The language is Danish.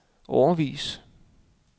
årevis